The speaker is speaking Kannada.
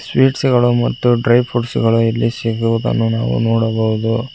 ಸ್ವೀಟ್ಸ ಗಳು ಮತ್ತು ಡ್ರೈ ಪುಟ್ಸ್ ಗಳು ಇಲ್ಲಿ ಸಿಗುವುದನ್ನು ನಾವು ನೋಡಬಹುದು.